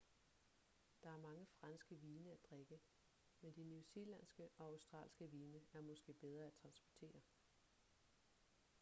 der er mange franske vine at drikke men de new zealandske og australske vine er måske bedre at transportere